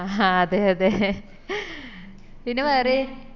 ആഹ് അതെ അതെ പിന്നെ പറയ്